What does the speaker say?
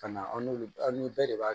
Ka na an n'olu an ni bɛɛ de b'a